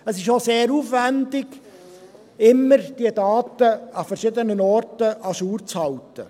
Es ist auch sehr aufwendig, diese Daten immer an verschiedenen Orten à jour zu halten.